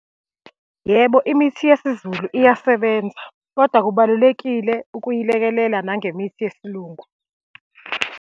Yebo, imithi yesiZulu iyasebenza, kodwa kubalulekile ukuyilekelela nangemithi yesiLungu.